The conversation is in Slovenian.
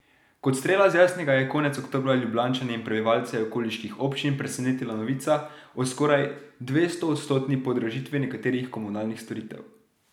Kot strela z jasnega je konec oktobra Ljubljančane in prebivalce okoliških občin presenetila novica o skoraj dvestoodstotni podražitvi nekaterih komunalnih storitev.